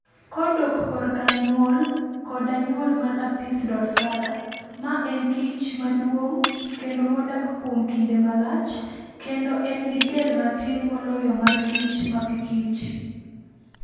Kodok korka nyuol koda nyuol mar Apis dorsata ma en kich maduong' kendo modak kuom kinde malach, kendo en gi del matin moloyo mar kich mapikich.